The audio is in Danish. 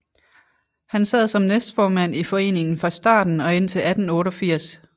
Han sad som næstformand i foreningen fra starten og indtil 1888